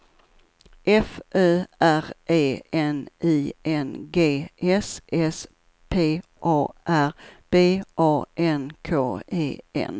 F Ö R E N I N G S S P A R B A N K E N